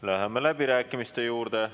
Läheme läbirääkimiste juurde.